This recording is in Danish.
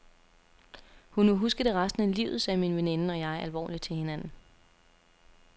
Hun vil huske det resten af livet, sagde min veninde og jeg alvorligt til hinanden.